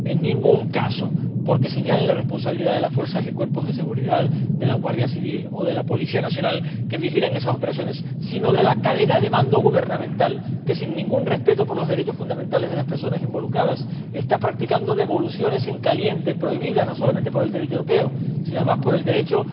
En ningún caso porque señale la responsabilidad de las fuerzas y cuerpos de seguridad de la Guardia Civil o de la Policía Nacional que vigilan esas operaciones, sino de la cadena de mando gubernamental, que, sin ningún respeto por los derechos fundamentales de las personas involucradas, está practicando devoluciones en caliente, prohibidas no solamente por el Derecho europeo, sino además por el Derecho